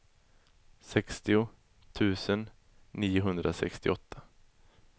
sextio tusen niohundrasextioåtta